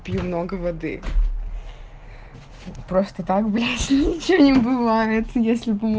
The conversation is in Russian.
пил много воды просто так больше ничего не бывает если бы